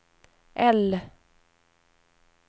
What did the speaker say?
L